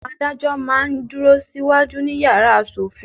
Àwọn adájọ́ máa ń dúró sí wájú ní yàrá asòfin.